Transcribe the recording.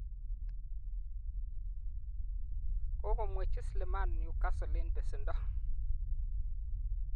kokomwechi Slimani Newcastle eng besendo.